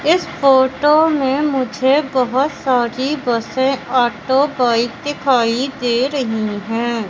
इस फोटो में मुझे बहोत सारी बसें ऑटो बाइक दिखाई दे रही हैं।